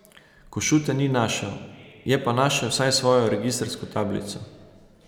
Košute ni našel, je pa našel vsaj svojo registrsko tablico.